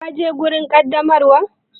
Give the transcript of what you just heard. Ka je wajen ƙaddamarwar?